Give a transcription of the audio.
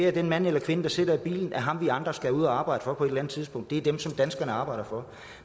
at den mand eller kvinde der sidder i bilen er ham vi andre skal ud at arbejde for på et eller andet tidspunkt det er dem som danskerne arbejder for